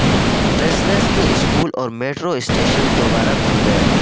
Brussels کے school اور metro station دوبارہ کھل گئے